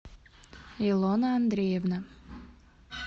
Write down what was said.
илона андреевна